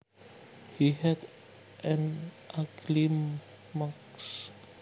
He had an ugly mug